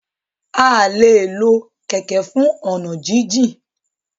a lẹ ló Kẹ̀kẹ́ fún ọnà jin jìn